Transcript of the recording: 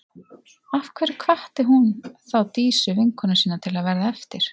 Af hverju hvatti hún þá Dísu, vinkonu sína, til að verða eftir?